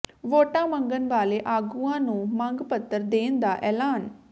ਵੋਟਾਂ ਮੰਗਣ ਵਾਲੇ ਆਗੂਆਂ ਨੂੰ ਮੰਗ ਪੱਤਰ ਦੇਣ ਦਾ ਐਲਾਨ